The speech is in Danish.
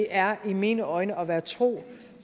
er i mine øjne at være tro